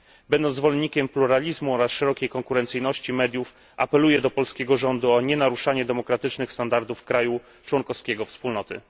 Będąc zwolennikiem pluralizmu oraz szerokiej konkurencyjności mediów, apeluję do polskiego rządu o nienaruszanie demokratycznych standardów państwa członkowskiego Wspólnoty.